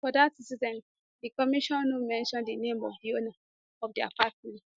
for dat incident di commission no mention di name of di owner of di apartment